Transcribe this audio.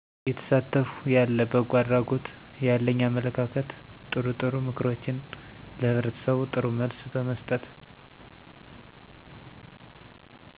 እየተሳተፍኩ ያለ በጎ አድራጎት ያለኝ አመለካከትጥሩጥሩ ምክሮችንለህብረተሰቡ ጥሩ መልስ በመስጠት